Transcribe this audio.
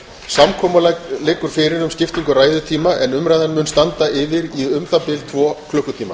samkomulag liggur fyrir um skiptingu ræðutíma en umræðan mun standa yfir í um það bil tvo klukkutíma